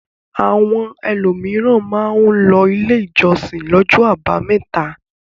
Àwọn ẹlòmíràn máa ń lọ ilé ìjọsìn lọ́jọ́ àbámẹ́ta.